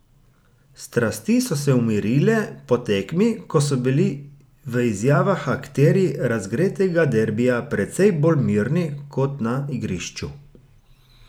Strasti so se umirile po tekmi, ko so bili v izjavah akterji razgretega derbija precej bolj mirni kot na igrišču.